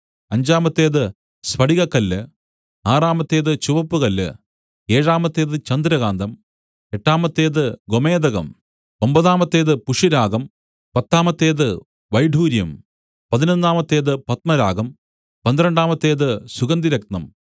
അഞ്ചാമത്തേത് സ്ഫടികക്കല്ല് ആറാമത്തേത് ചുവപ്പുകല്ല് ഏഴാമത്തേത് ചന്ദ്രകാന്തം എട്ടാമത്തേത് ഗോമേദകം ഒമ്പതാമത്തേത് പുഷ്യരാഗം പത്താമത്തേത് വൈഡൂര്യം പതിനൊന്നാമത്തേത് പത്മരാഗം പന്ത്രണ്ടാമത്തേത് സുഗന്ധിരത്നം